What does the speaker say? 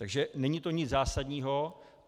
Takže není to nic zásadního.